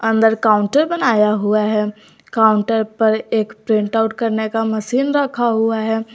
अंदर काउंटर बनाया हुआ है काउंटर पर एक प्रिंट आउट करने का मशीन रखा हुआ है।